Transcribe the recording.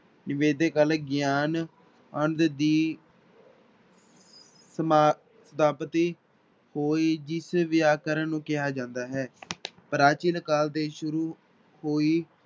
ਗਿਆਨ ਅੰਧ ਦੀ ਸਮਾ ਪ੍ਰਾਪਤੀ ਹੋਈ, ਜਿਸ ਵਿਆਕਰਨ ਨੂੰ ਕਿਹਾ ਜਾਂਦਾ ਹੈ ਪ੍ਰਾਚੀਨ ਕਾਲ ਦੇ ਸ਼ੁਰੂ ਹੋਈ